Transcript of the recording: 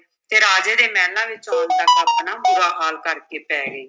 ਅਤੇ ਰਾਜੇ ਦੇ ਮਹਿਲਾਂ ਵਿੱਚ ਆਉਣ ਤੱਕ ਆਪਣਾ ਬੁਰਾ ਹਾਲ ਕਰਕੇ ਪੈ ਗਈ।